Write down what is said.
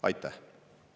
Aitäh!